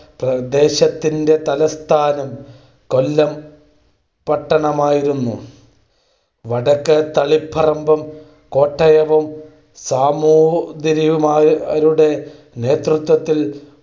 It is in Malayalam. പ്രദേശത്തിന്റെ തലസ്ഥാനം കൊല്ലം പട്ടണമായിരുന്നു. വടക്ക് തളിപ്പറമ്പും, കോട്ടയവും സാമൂതിരിമാരുടെ നേതൃത്വത്തിൽ